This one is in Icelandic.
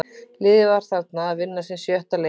Liðið var þarna að vinna sinn sjötta leik í röð.